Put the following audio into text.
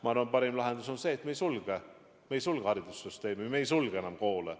Ma arvan, et parim lahendus on see, et me ei sulge haridussüsteemi, me ei sulge enam koole.